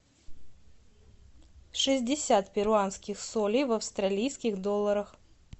шестьдесят перуанских солей в австралийских долларах